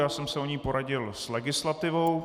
Já jsem se o ní poradil s legislativou.